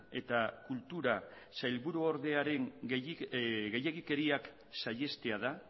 eta kultura sailburuordearen gehiegikeriak saihestea da